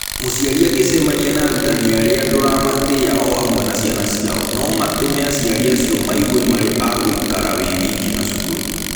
Mũciari angĩcemania na arutani arĩa ndũramatĩa o hamwe na ciana ciao, no matũme aciari acio maigue marĩ a gũikara wĩ wiki na cukuru.